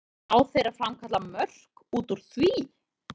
En ná þeir að framkalla mörk út úr því?